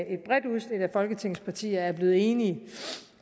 et bredt udsnit af folketingets partier er blevet enige